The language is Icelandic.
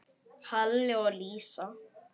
Halli og Lísa.